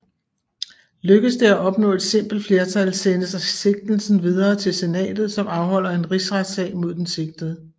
Lykkedes det at opnå et simpelt flertal sendes sigtelsen videre til Senatet som afholder en rigsretssag mod den sigtede